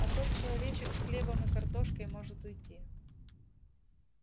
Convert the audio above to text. а тот человечек с хлебом и картошкой может уйти